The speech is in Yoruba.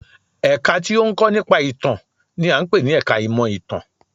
Ẹ̀ka tí ó ń kọ́ nípa ìtàn n i à ń pè ní ẹka ìmọ̀ ìtàn